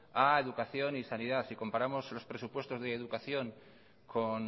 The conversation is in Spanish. a educación y sanidad si comparamos los presupuestos de educación con